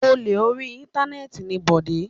Olè orí Íńtánẹ́ẹ̀tì ni Bọ̀dé.